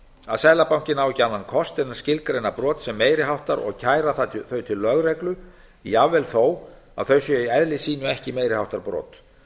að seðlabankinn á ekki annan kost en að skilgreina brot sem meiri háttar og kæra þau til lögreglu jafnvel þó að þau séu í eðli sínu ekki meiri háttar brot